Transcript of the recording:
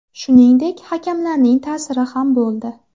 Shuningdek, hakamlarning ta’siri ham bo‘ldi.